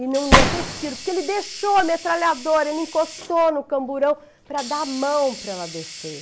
E não ia ter tiro, porque ele deixou a metralhadora, ele encostou no camburão para dar a mão para ela descer.